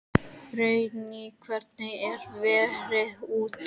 Brynný, hvernig er veðrið úti?